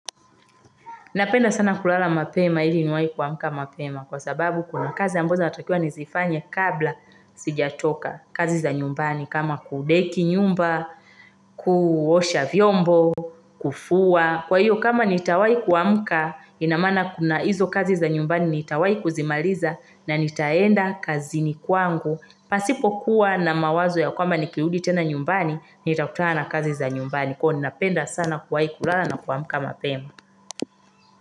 Napenda sana kulala mapema ili niwahi kuamka mapema kwa sababu kuna kazi ambazo natakiwa nizifanya kabla sijatoka kazi za nyumbani kama kudeki nyumba, kuosha vyombo, kufua. Kwa hiyo kama nitawai kuamka ina maana kuna hizo kazi za nyumbani nitawai kuzimaliza na nitaenda kazini kwangu. Pasipo kuwa na mawazo ya kwamba nikirudi tena nyumbani nitakutana na kazi za nyumbani kwa hvyo ninapenda sana kulala na kuamka mapema.